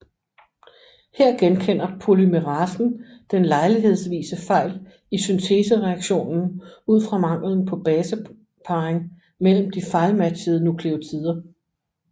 Her genkender polymerasen den lejlighedsvise fejl i syntesereaktionen ud fra manglen på baseparring mellem de fejlmatchede nukleotider